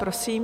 Prosím.